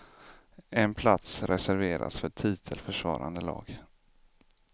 En plats reserveras för titelförsvarande lag.